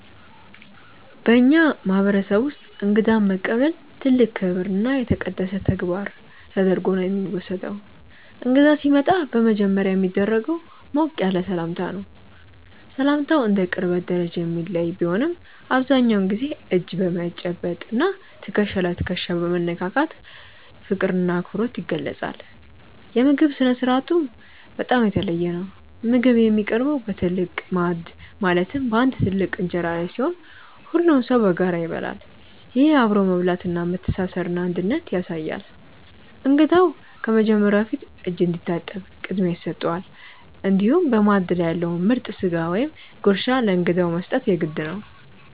በእኛ ማህበረሰብ ውስጥ እንግዳን መቀበል ትልቅ ክብርና የተቀደሰ ተግባር ተደርጎ ነው የሚወሰደው። እንግዳ ሲመጣ በመጀመሪያ የሚደረገው ሞቅ ያለ ሰላምታ ነው። ሰላምታው እንደ ቅርበት ደረጃ የሚለያይ ቢሆንም፣ አብዛኛውን ጊዜ እጅ በመጨበጥ እና ትከሻ ለትከሻ በመነካካት ፍቅርና አክብሮት ይገለጻል። የምግብ ስነ-ስርዓቱም በጣም የተለየ ነው። ምግብ የሚቀርበው በትልቅ ማዕድ ማለትም በአንድ ትልቅ እንጀራ ላይ ሲሆን፣ ሁሉም ሰው በጋራ ይበላል። ይህ አብሮ መብላት መተሳሰርንና አንድነትን ያሳያል። እንግዳው ከመጀመሩ በፊት እጅ እንዲታጠብ ቅድሚያ ይሰጠዋል፤ እንዲሁም በማዕድ ላይ ያለውን ምርጥ ስጋ ወይም ጉርሻ ለእንግዳው መስጠት የግድ ነው።